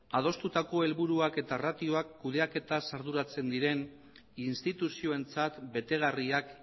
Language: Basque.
adostutako helburuak eta ratioak kudeaketaz arduratzen diren instituzioentzat betegarriak